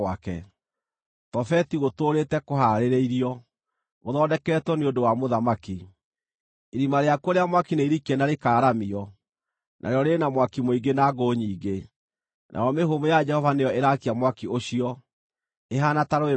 Tofeti gũtũũrĩĩte kũhaarĩirio; gũthondeketwo nĩ ũndũ wa mũthamaki. Irima rĩakuo rĩa mwaki nĩirikie na rĩkaaramio, narĩo rĩrĩ na mwaki mũingĩ na ngũ nyingĩ, nayo mĩhũmũ ya Jehova nĩyo ĩraakia mwaki ũcio, ĩhaana ta rũũĩ rwa ũbiriti.